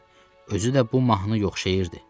Özü də bu mahnı yox şeirdi.